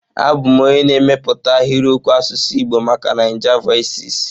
Abụ m onye na-emepụta ahịrịokwu asụsụ Igbo maka Naijavoices.